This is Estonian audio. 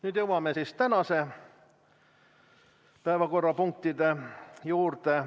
Nüüd jõuame tänaste päevakorrapunktide juurde.